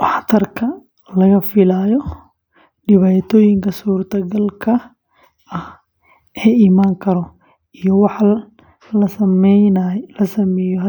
waxtarka laga filayo, dhibaatooyinka suuragalka ah.